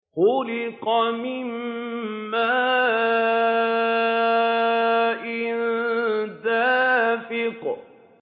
خُلِقَ مِن مَّاءٍ دَافِقٍ